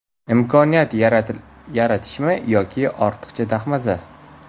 Imkoniyat yaratishmi yo ortiqchi dahmaza.